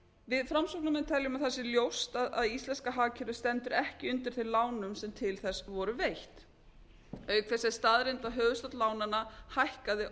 við framsóknarmenn teljum að það sé ljóst að íslenska hagkerfið stendur ekki undir þeim lánum sem til þess voru veitt auk þess er staðreynd að höfuðstóll lánanna hækkaði